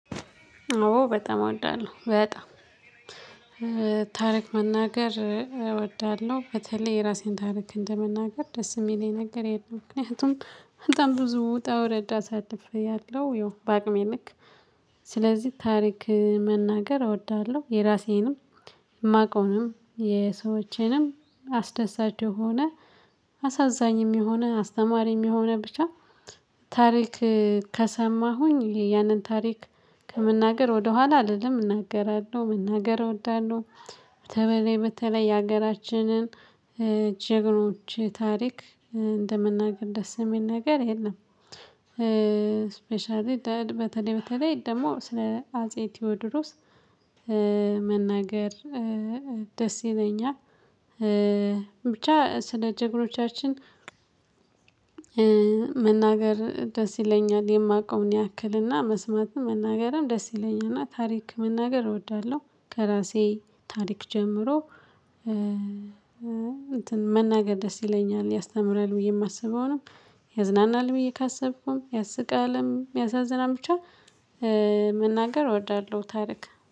ኦ በጣም እወዳለሁ በጣም ታሪክ መናገር እወዳለሁ በተለይ የራሴን ታሪክ እንደመናገር ደስ የሚለኝ የነገር የለም ምክንያቱም በጣም ብዙ ውጣ ውረድ አሳልፌያለው ያው በአቅሜ ልክ። ስለዚህ ታሪክ መናገር እወዳለሁ የራሴንም የማውቀውንም የሰዎችንም አስደሳች የሆነ አሳዛኝም የሆነ አስተማሪም የሚሆነ ብቻ ታሪክ ከሰማሁኝ ያንን ታሪክ ከመናገር ወደኋላ አልልም እናገራለሁ መናገር እወዳለሁ። በተበለይ በተለይ የሀገራችንን ጀግኖች ታሪክ እንደምናገር ደስ የሚል ነገር የለም። ስፔሻሊ በተለይ በተለይ ደግሞ ስለ አጼ ቴዎድሮስ መናገር ደስ ይለኛል። ብቻ ስለ ጀግኖቻችን። መናገር ደስ ይለኛል የማቀውን ያክልና መስማትም መናገርም ደስ ይለኛልና ታሪክ መናገር እወዳለሁ። ከራሴ ታሪክ ጀምሮ እንትን መናገር ደስ ይለኛል ያስተምራል ብዬ የማስበውንም ያዝናናል ብዬ ካሰብኩም ያስቃልም ያሳዝናል ብቻ። መናገር እወዳለሁ ታሪክ